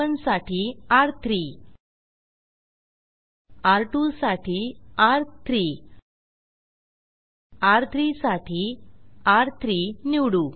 र1 साठी र3 र2 साठी र3 र3 साठी र3 निवडू